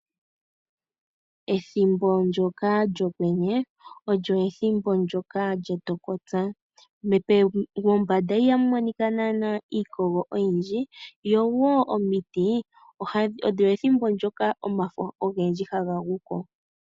Ethimbo ndyoka lyOkwenye, olyo ethimbo ndyoka lyetokopya. Mombanda ihamu monika naanaa iikogo oyindji noshowo omiti olyo ethimbo ndyoka omafo haga gu ko.